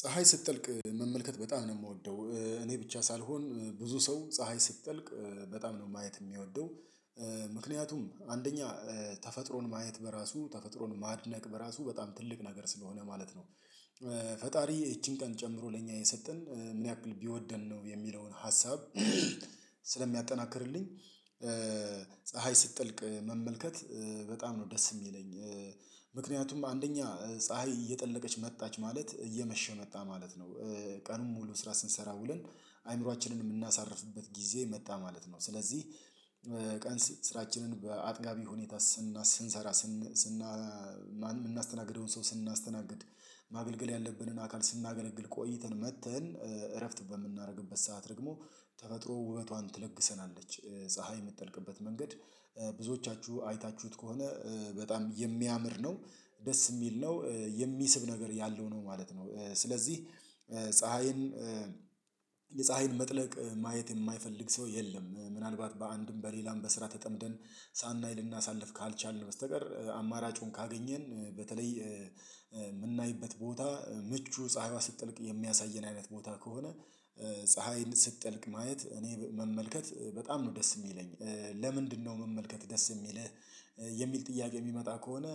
ፀሀይ ስትጠልቅ መመልከት በጣም ነው የምወደው እኔ ብቻ ሳልሆን ብዙ ሰው ፀሀይ ስትጠልቅ በጣም ነው ማየት የሚወደው፤ ምክንያቱም አንደኛ ተፈጥሮን ማየት በራሱ ተፈጥሮን ማድነቅ በራሱ በጣም ትልቅ ነገር ስለሆነ ማለት ነው፤ ፈጣሪ ይቺን ቀን ጨምሮ ለእኛ የሰጠን ምን ያክል ቢወደን ነው የሚለውን ሀሳብ ስለሚያጠናክርልኝ ፀሀይ ስትጠልቅ መመልከት በጣም ነው ደስ የሚለኝ። ምክንያቱም አንደኛ ፀሀይ እየጠለቀች መጣች ማለት እየመሸ መጣ ማለት ነው፤ ቀኑን ሙሉ ስራ ስንሰራ ውልን አእምሮአችንን የምናሳርፍበት ጊዜ መጣ ማለት ነው ስለዚህ ቀን ስራችንን በአጥጋቢ ሁኔታ ስንሰራ ስንሰራ ስንሰራ የምናስተናግደውን ሰው ስናስተናግድ ማገልገል ያለብንን አካል ስናገለግል ቆይተን መጥተን እረፍት በምናደርግበት ሰዓት ደግሞ ተፈጥሮ ውበቷን ትለግሰናለች ፀሀይ የምትጠልቅበት መንገድ ብዙዎቻችሁ አይታችሁት ከሆነ በጣም የሚያምር ነው ደስ የሚል ነው የሚስብ ነገር ያለው ነው ማለት ነው ስለዚህ ፀሀይን የፀሀይን መጥለቅ ማየት የማይፈልግ ሰው የለም ምናልባት በአንድም በሌላም በስራ ተጠምደን ሳናይ ልናሳልፍ ካልቻልን በስተቀር አማራጩን ካገኘን በተለይ የምናይበት ቦታ ምቹ ፀሀይዋ ስትጠልቅ የሚያሳየን አይነት ቦታ ከሆነ ፀሀይን ስትጠልቅ ማየት እኔ መመልከት በጣም ነው ደስ የሚለኝ፤ ለምንድነው መመልከት ደስ የሚልህ የሚል ጥያቄ የሚመጣ ከሆነ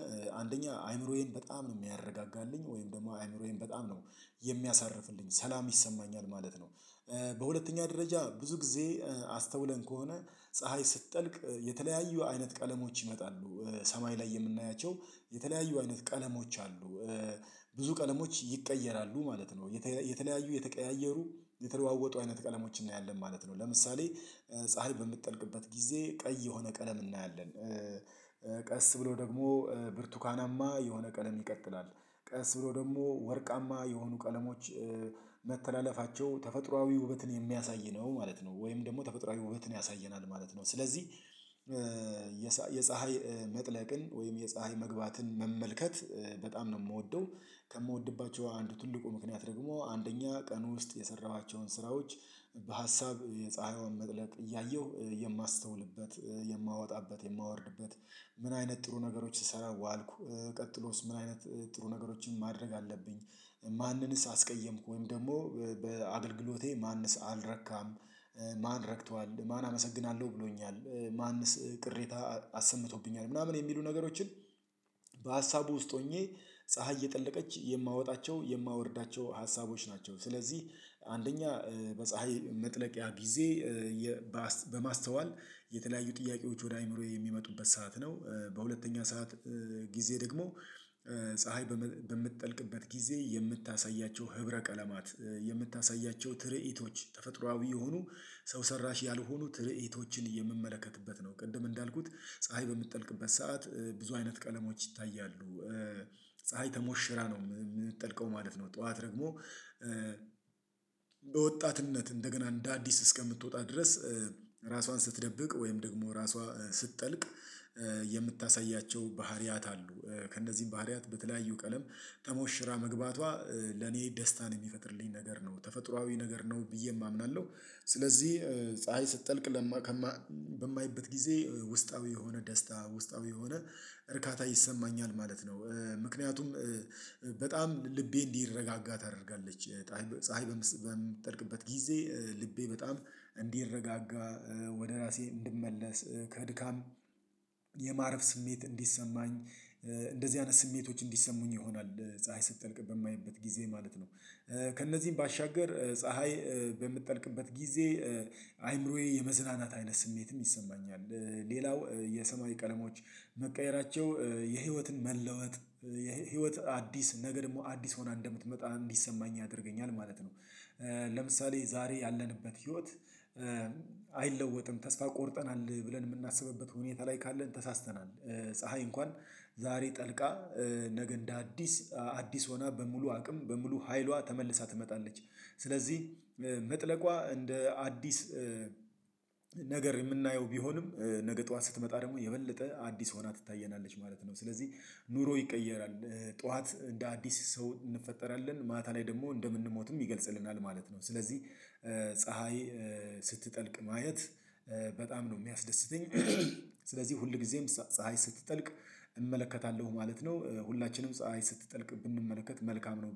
አንደኛ አይምሮዬን በጣም ነው የሚያረጋጋልኝ ወይም ደግሞ አይምሮዬን በጣም ነው የሚያሳርፍልኝ ሰላም ይሰማኛል ማለት ነው፤ በሁለተኛ ደረጃ ብዙ ጊዜ አስተውለን ከሆነ ፀሀይ ስትጠልቅ የተለያዩ አይነት ቀለሞች ይመጣሉ ሰማይ ላይ የምናያቸው የተለያዩ አይነት ቀለሞች አሉ፤ ብዙ ቀለሞች ይቀየራሉ ማለት ነው የተለያዩ የተቀያየሩ የተለዋወጡ አይነት ቀለሞችን እናያለን ማለት ነው ለምሳሌ ፀሀይ በምትጠልቅበት ጊዜ ቀይ የሆነ ቀለም እናያለን ቀስ ብሎ ደግሞ ብርቱካናማ የሆነ ቀለም ይቀጥላል ቀስ ብሎ ደግሞ ወርቃማ የሆኑ ቀለሞች መተላለፋቸው ተፈጥሮአዊ ውበትን የሚያሳይ ነው ማለት ነው ወይም ደግሞ ተፈጥሮአዊ ውበትን ያሳየናል ማለት ነው፤ ስለዚህ የፀሀይ መጥለቅን ወይም የፀሀይ መግባትን መመልከት በጣም ነው የምወደው፤ ከምወድባቸው አንዱ ትልቁ ምክንያት ደግሞ አንደኛ ቀን ውስጥ የሰራኋቸውን ስራዎች በሀሳብ የፀሀይዋን መጥለቅ እያየሁ የማስተውልበት የማወጣበት የማወርድበት ምን አይነት ጥሩ ነገሮች ስሰራ ዋልኩ ቀጥሎስ ምን አይነት ጥሩ ነገሮችን ማድረግ አለብኝ ማንንስ አስቀየምኩ ወይም ደግሞ በአገልግሎቴ ማንንስ አልረካም ማን ረክተዋል ማን አመሰግናለሁ ብሎኛል ማንስ ቅሬታ አሰምቶብኛል ምናምን የሚሉ ነገሮችን በሀሳቡ ውስጥ ሆኜ ፀሀይ እየጠለቀች የማወጣቸው የማወርዳቸው ሀሳቦች ናቸው ስለዚህ አንደኛ በፀሀይ መጥለቂያ ጊዜ በማስተዋል የተለያዩ ጥያቄዎች ወደ አእምሮዬ የሚመጡበት ሰዓት ነው በሁለተኛ ሰዓት ጊዜ ደግሞ ፀሀይ በምትጠልቅበት ጊዜ የምታሳያቸው ህብረ ቀለማት የምታሳያቸው ትርኢቶች ተፈጥሮአዊ የሆኑ ሰው ሰራሽ ያልሆኑ ትርኢቶችን የምመለከትበት ነው ቅድም እንዳልኩት ፀሀይ በምትጠልቅበት ሰዓት ብዙ አይነት ቀለሞች ይታያሉ፤ ፀሀይ ተሞሽራ ነው የምትጠልቀው ማለት ነው ጠዋት ደግሞ በወጣትነት እንደገና እንደ አዲስ እስከምትወጣ ድረስ ራሷን ስትደብቅ ወይም ደግሞ ራሷ ስትጠልቅ የምታሳያ ባህሪያት አሉ ከእነዚህ ባህሪያት በተለያዩ ቀለም ተሞሽራ መግባቷ ለኔ ደስታን የሚፈጥርልኝ ነገር ነው፤ ተፈጥሮአዊ ነገር ነው ብዬ አምናለሁ ስለዚህ ፀሀይ ስትጠልቅ ከማይበት ጊዜ ውስጣዊ የሆነ ደስታ ውስጣዊ የሆነ እርካታ ይሰማኛል ማለት ነው፤ ምክነያቱም በጣም ልቤ እንዲረጋጋ ታደርጋለች ፀሀይ በምትጠልቅበት ጊዜ ልቤ በጣም እንዲረጋጋ ወደ ራሴ እንድመለስ ከድካም የማረፍ ስሜት እንዲሰማኝ እንደዚህ አይነት ስሜቶች እንዲሰሙኝ ይሆናል ፀሀይ ስትጠልቅ በማየበት ጊዜ ማለት ነው ከእነዚህም ባሻገር ፀሀይ በምትጠልቅበት ጊዜ አይምሮዬ የመዝናናት አይነት ስሜትም ይሰማኛል፤ ሌላው የሰማይ ቀለሞች መቀየራቸው የህይወትን መለወጥ የህይወት አዲስ ነገ ደግሞ አዲስ ሆና እንደምትመጣ እንዲሰማኝ ያደርገኛል ማለት ነው፤ ለምሳሌ ዛሬ ያለንበት ህይወት አይለወጥም ተስፋ ቆርጠናል ብለን የምናስብበት ሁኔታ ላይ ካለን ተሳስተናል፤ ፀሀይ እንኳን ዛሬ ጠልቃ ነገ እንደ አዲስ አዲስ ሆና በሙሉ አቅም በሙሉ ሀይሏ ተመልሳ ትመጣለች ስለዚህ መጥለቋ እንደ አዲስ ነገር የምናየው ቢሆንም ነገ ጠዋት ስትመጣ ደግሞ የበለጠ አዲስ ሆና ትታየናለች ማለት ነው ስለዚህ ኑሮ ይቀየራል ጠዋት እንደ አዲስ ሰው እንፈጠራለን ማታ ላይ ደግሞ እንደምንሞትም ይገልጽልናል ማለት ነው ስለዚህ ስትጠልቅ ማየት በጣም ነው የሚያስደስተኝ ስለዚህ ሁል ጊዜም ፀሀይ ስትጠልቅ እመለከታለሁ ማለት ነው ሁላችንም ፀሀይ ስትጠልቅ ብንመለከት መልካም ነው